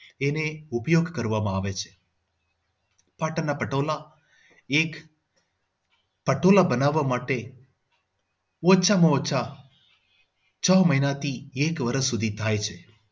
એને ઉપયોગ કરવામાં આવે છે. પાટણના પટોળા એક પટોળા બનાવવા માટે ઓછા માં ઓછા છ મહિના થી એક વર્ષ સુધી થાય છે.